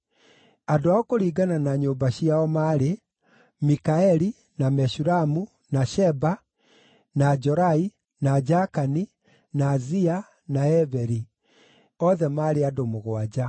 Andũ ao kũringana na nyũmba ciao maarĩ: Mikaeli, na Meshulamu, na Sheba, na Jorai, na Jakani, na Zia, na Eberi, othe maarĩ andũ mũgwanja.